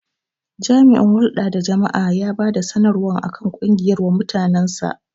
Jami'in hulɗa da jama'a ya bada sanarwa akan ƙungiyar wa mutanen sa